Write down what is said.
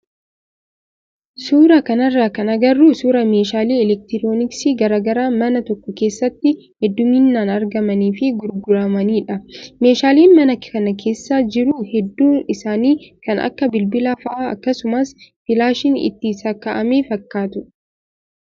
suuraa kanarraa kan agarru suuraa meeshaalee elektirooniksii garaagaraa mana tokko keessatti hedduminaan argamanii fi gurguramanidha. Meeshaaleen mana kana keessa jiru hedduun isaa kan akka bilbilaa fa'aa akkasumas filaashiin itti sakka'ame fakkatu.